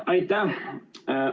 Aitäh!